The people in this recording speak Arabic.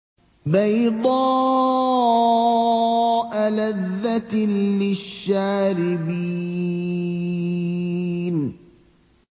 بَيْضَاءَ لَذَّةٍ لِّلشَّارِبِينَ